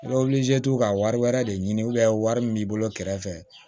I bɛ ka wari wɛrɛ de ɲini wari min b'i bolo kɛrɛfɛ